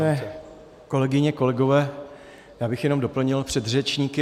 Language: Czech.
Vážené kolegyně, kolegové, já bych jenom doplnil předřečníky.